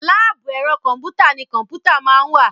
láàbù ẹ̀rọ kọ̀m̀pútà ni kọ̀m̀pútà máa ń wà.